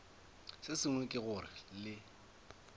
se sengwe ke gore le